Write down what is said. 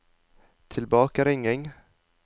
tilbakeringing